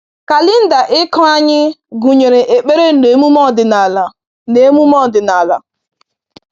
Kalenda ịkụ anyị gụnyere ekpere na emume ọdịnala. na emume ọdịnala.